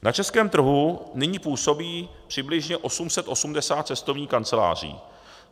Na českém trhu nyní působí přibližně 880 cestovních kanceláří.